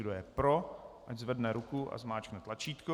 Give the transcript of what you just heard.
Kdo je pro, ať zvedne ruku a zmáčkne tlačítko.